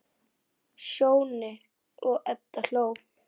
Sjóni og Edda hló.